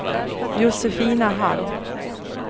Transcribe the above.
Josefina Hall